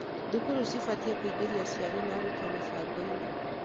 Thukuru cibatiĩ kũingĩria aciari na arutwo mĩbango-inĩ